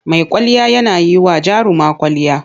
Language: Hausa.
Mai kwalliya yana yi wa jaruma kwwalliya.